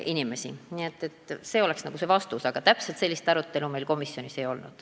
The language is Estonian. Nii et see on vastus, aga täpselt sellist arutelu meil komisjonis ei olnud.